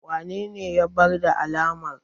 wanene ya barar da amalar?